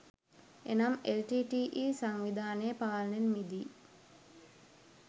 එනම් L T T E සංවිධානයේ පාලනයෙන් මිදී